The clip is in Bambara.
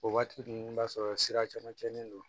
O waati ninnu i b'a sɔrɔ sira caman tiɲɛnen don